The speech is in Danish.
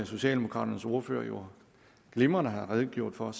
socialdemokraternes ordfører jo glimrende har redegjort for